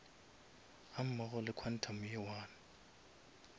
gammogo le quantum ye one